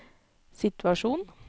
situasjon